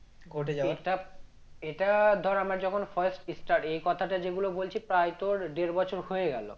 এটা ধর আমার যখন first start এই কথাটা যেগুলো বলছি প্রায় তোর দেড় বছর হয়ে গেল